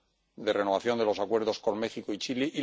en la renovación de los acuerdos con México y Chile